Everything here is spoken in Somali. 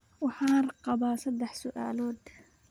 Waxaan qabaa saddex su'aalood